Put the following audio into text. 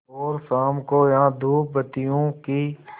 और शाम को यहाँ धूपबत्तियों की